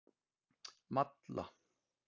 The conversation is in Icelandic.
Malla